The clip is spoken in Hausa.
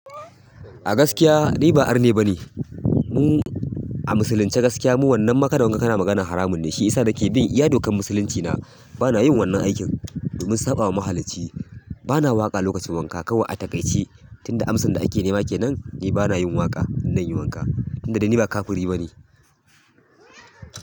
A gaskiya ni ba arne bane. Mu a musulunci gaskiya mu wannan kada wanga ka na magana haramun ne. Shi yasa nake bi iya dokan musulunci na bana yin wannan aikin domin saɓawa mahalicci. Bana waƙa lokacin wanka. Kawai a taƙaice tunda amsan da ake nema kenan ni bana yin waƙa in zan yi wanka. Tunda dai ni ba kafiri bane.